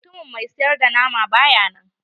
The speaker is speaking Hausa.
Mutumin mai siyar da nama baya nan.